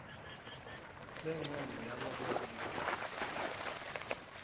lencono yabo bonkhe